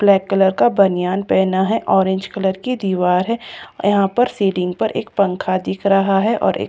black colour का बनियान पहना है ऑरेंज कलर की दीवार है यहां पर सीलिंग पर एक पंखा दिख रहा है और एक--